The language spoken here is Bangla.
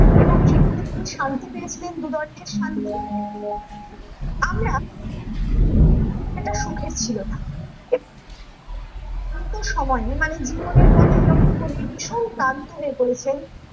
এবং সেখানে তিনি শান্তি পেয়ছিলেন দু দণ্ডের আমরা সুখের ছিল না শান্ত সময়ে মানে জীবনের পথে যখন কবি ভীষণ ক্লান্ত হয়ে পড়েছেন